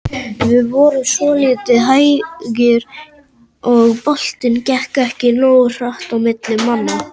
Við vorum svolítið hægir og boltinn gekk ekki nógu hratt á milli manna.